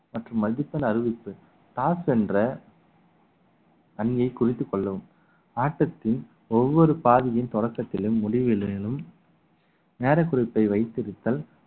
மற்றும் multiple அறிவிப்பு toss என்ற அணியை குறித்துக் கொள்ளவும் ஆட்டத்தின் ஒவ்வொரு பாதியின் தொடக்கத்திலும் முடிவுகளிலும் நேரக்குறிப்பை வைத்து இருத்தல்